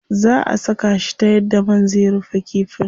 Zaa a saka shi ta yadda man zai rufe kifin.